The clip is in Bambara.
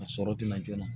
A sɔrɔ tɛ na joona